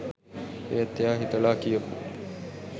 ඒත් එයා හිතලා කියපු